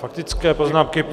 Faktické poznámky.